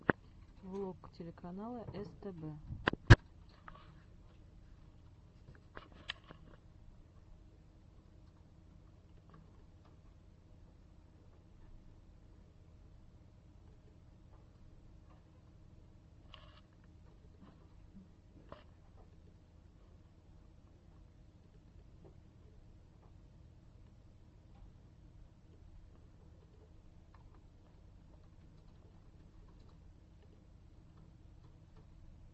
влог телеканала стб